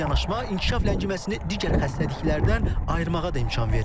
Bu yanaşma inkişaf ləngiməsini digər xəstəliklərdən ayırmağa da imkan verir.